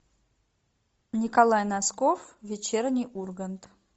николай носков вечерний ургант